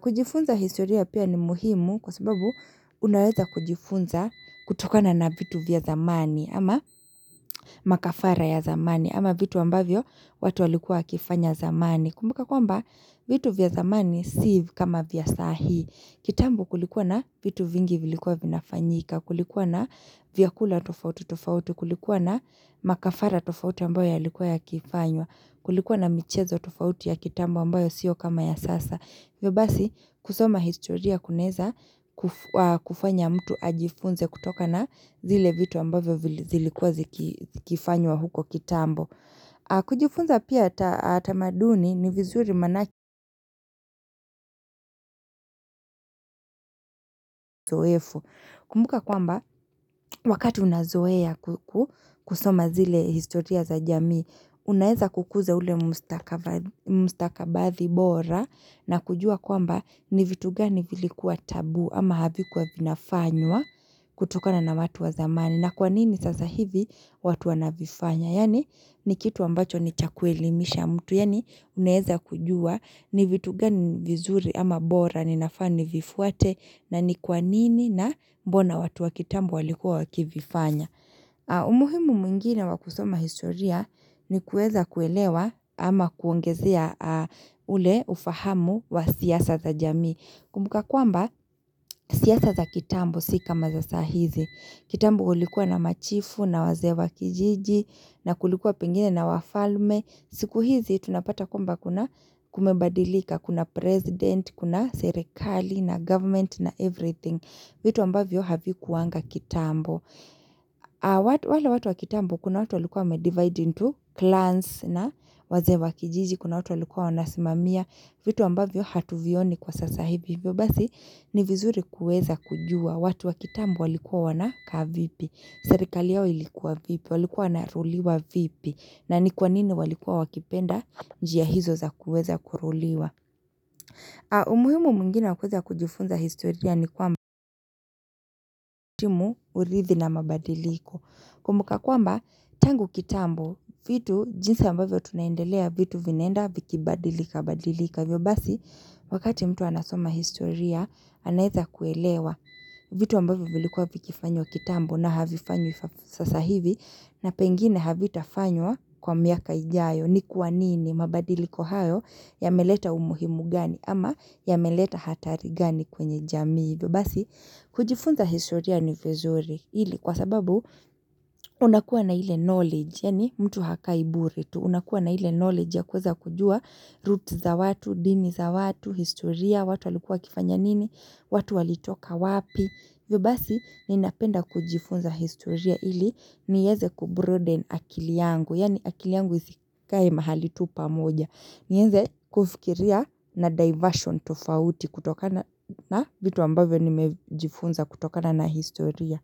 Kujifunza historia pia ni muhimu kwa sababu unaweza kujifunza kutokana na vitu vya zamani ama makafara ya zamani ama vitu ambavyo watu walikua wakifanya zamani. Kumbuka kwamba vitu vya zamani si kama vya sahi. Kitambo kulikuwa na vitu vingi vilikuwa vinafanyika. Kulikuwa na vyakula tofauti tofauti. Kulikuwa na makafara tofauti ambayo ya likuwa ya kifanywa. Kulikuwa na michezo tofauti ya kitambo ambayo sio kama ya sasa. Vyobasi kusoma historia kuneza kufanya mtu ajifunze kutoka na zile vitu ambavyo zilikuwa zikifanywa huko kitambo. Kujifunza pia atamaduni ni vizuri manaki zoefu. Kumbuka kwamba wakati unazoea kusoma zile historia za jamii, unaeza kukuza ule mustakabadhi mustakabadhi bora na kujua kwamba ni vitu gani vilikuwa tabu ama havikuwa vinafanywa kutukana na watu wa zamani na kwanini sasa hivi watu wanavifanya yani ni kitu ambacho ni chakuelimisha mtu yani uneeza kujua ni vitu gani vizuri ama bora ninafani vifuate na ni kwanini na mbona watu wakitambo walikuwa wakivifanya umuhimu mwingine wakusoma historia ni kueza kuelewa ama kuongezea ule ufahamu wa siyasa za jami. Kumbuka kwamba siyasa za kitambo sika maza sahizi. Kitambo kulikuwa na machifu na wazee wa kijiji na kulikuwa pengine na wafalme. Siku hizi tunapata kwamba kuna kumebadilika. Kuna president, kuna serekali na government na everything. Vitu ambavyo haviku wanga kitambo. Wale watu wakitambo kuna watu walikuwa medivide into clans na wazee wakijiji kuna watu walikuwa wanasimamia vitu ambavyo hatuvioni kwa sasahiv ivyo basi ni vizuri kueza kujua watu wakitambo walikuwa wanaka vipi serikali yao ilikuwa vipi walikuwa naruliwa vipi na ni kwanini walikuwa wakipenda njia hizo za kueza kuruliwa umuhimu mungine wa kweza kujufunza historia ni kwamba timu urithi na mabadiliko kumbuka kwamba tangu kitambo vitu jinsi ambavyo tunaendelea vitu vinenda vikibadilika badilika vyo basi wakati mtu anasoma historia anaeza kuelewa vitu ambavyo vilikua vikifanywa kitambo na havifanywi sasa hivi na pengine havitafanywa kwa miaka ijayo ni kuwa nini mabadiliko hayo ya meleta umuhimu gani ama ya meleta hatari gani kwenye jamii vyo basi kujifunza historia ni vezuri hili kwa sababu unakuwa na hile knowledge, yani mtu hakaibure tu unakuwa na hile knowledge ya kuweza kujua roots za watu, dini za watu, historia watu walikua kifanya nini, watu walitoka wapi Vyobasi ninapenda kujifunza historia ili niyeze kubroden akili yangu Yani akili yangu isikae mahali tupa moja Nienze kufikiria na diversion tofauti kutokana navitu ambavyo nimejifunza kutokana na historiaya.